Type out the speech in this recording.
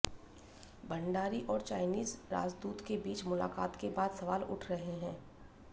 भंडारी और चाइनीज राजदूत के बीच मुलाकात के बाद सवाल उठ रहे हैं